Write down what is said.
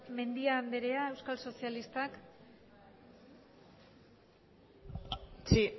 mendia anderea euskal sozialistak sí